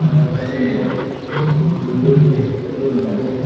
aakashan oye blue guriney eke dol lager.